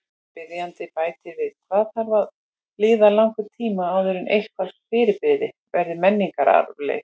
Spyrjandi bætir við: Hvað þarf að líða langur tími áður en eitthvað fyrirbrigði verður menningararfleifð?